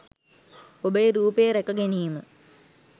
ඔබේ රූපය රැකගැනීම